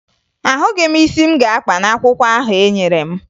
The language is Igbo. Ahụghị m isi m ga-akpa n'akwụkwọ ahụ enyere m